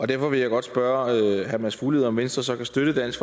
derfor vil jeg godt spørge herre mads fuglede om venstre så kan støtte dansk